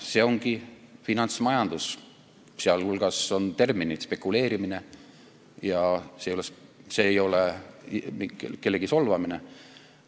See ongi finantsmajandus ja sellised terminid nagu spekuleerimine – see ei ole kellegi solvamine.